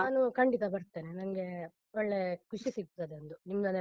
ನಾನು ಖಂಡಿತ ಬರ್ತೇನೆ, ನಂಗೆ ಒಳ್ಳೆ ಖುಷಿ ಸಿಕ್ತದೊಂದು ನಿಮ್ಮನೆಲ್ಲ.